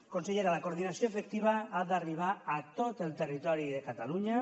consellera la coordinació efectiva ha d’arribar a tot el territori de catalunya